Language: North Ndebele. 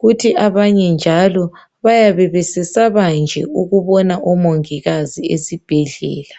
kuthi abanye njalo bayabe besesaba nje ukubona umongikazi esibhedlela.